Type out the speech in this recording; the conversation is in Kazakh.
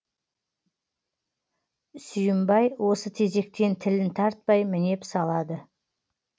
сүйімбай осы тезектен тілін тартпай мінеп салады